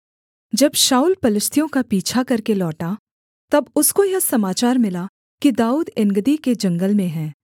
जब शाऊल पलिश्तियों का पीछा करके लौटा तब उसको यह समाचार मिला कि दाऊद एनगदी के जंगल में है